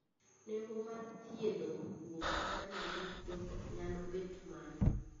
Nengo mar thiedho guok kata nyambuch joot nyalo bet malo.